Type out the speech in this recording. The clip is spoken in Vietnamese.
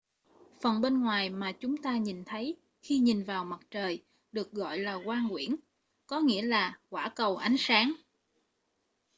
phần bên ngoài mà chúng ta nhìn thấy khi nhìn vào mặt trời được gọi là quang quyển có nghĩa là quả cầu ánh sáng